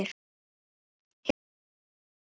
Hefur þú séð flottari þrennu?